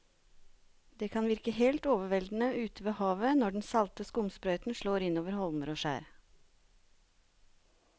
Det kan virke helt overveldende ute ved havet når den salte skumsprøyten slår innover holmer og skjær.